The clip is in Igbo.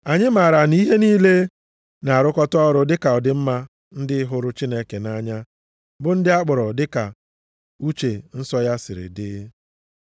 Anyị maara na ihe niile na-arụkọta ọrụ maka ọdịmma ndị hụrụ Chineke nʼanya bụ ndị a kpọrọ dịka uche nsọ ya siri dị.